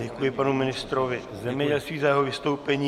Děkuji panu ministrovi zemědělství za jeho vystoupení.